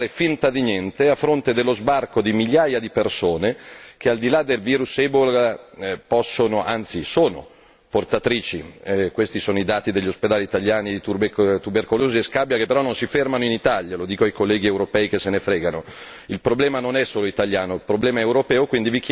E mi chiedo e vi chiedo se l'Europa possa ancora fare finta di niente a fronte dello sbarco di migliaia di persone che, al di là del virus ebola, possono, anzi sono portatrici questi sono i dati degli ospedali italiani di tubercolosi e scabbia, che però non si fermano in Italia, lo dico ai colleghi europei che se ne fregano.